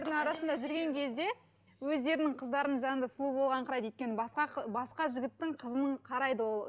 жүрген кезде өздерінің қыздарының жанында сұлу болғанын қарайды өйткені басқа басқа жігіттің қызының қарайды ол